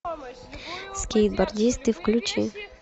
скейтбордисты включи